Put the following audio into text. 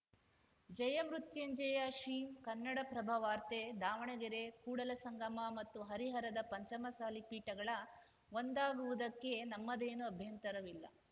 ಜಯಮೃತ್ಯುಂಜಯ ಶ್ರೀ ಕನ್ನಡಪ್ರಭ ವಾರ್ತೆ ದಾವಣಗೆರೆ ಕೂಡಲ ಸಂಗಮ ಮತ್ತು ಹರಿಹರದ ಪಂಚಮಸಾಲಿ ಪೀಠಗಳ ಒಂದಾಗುವುದಕ್ಕೆ ನಮ್ಮದೇನೂ ಅಭ್ಯಂತರವಿಲ್ಲ